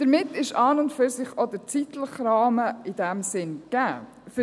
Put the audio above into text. Damit ist an und für sich auch der zeitliche Rahmen in diesem Sinn gegeben.